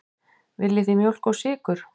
Viljið þið mjólk og sykur?